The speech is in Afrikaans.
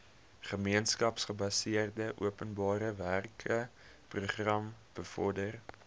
gemeenskapsgebaseerde openbarewerkeprogram bevorder